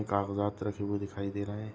कागजाद रखे हुए दिखाई दे रहे है।